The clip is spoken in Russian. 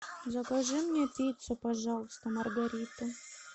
закажи мне пиццу пожалуйста маргарита